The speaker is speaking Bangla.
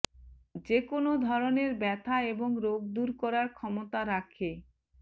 যে কোনও ধরণের ব্যথা এবং রোগ দূর করার ক্ষমতা রাখে